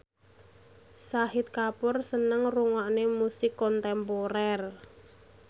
Shahid Kapoor seneng ngrungokne musik kontemporer